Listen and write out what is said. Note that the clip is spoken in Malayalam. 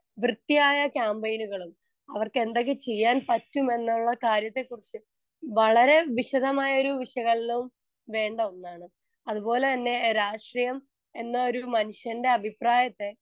സ്പീക്കർ 1 വൃത്തിയായ ക്യാമ്പയിനുകളും അവർക്ക് എന്തൊക്കെ ചെയ്യാൻ പറ്റും എന്നുള്ള കാര്യത്തെക്കുറിച്ച് വളരെ വിശദമായൊരു വിശകലനവും വേണ്ട ഒന്നാണ്. അതുപോലെതന്നെ രാഷ്ട്രീയം എന്ന ഒരു മനുഷ്യൻ്റെ അഭിപ്രായത്തെ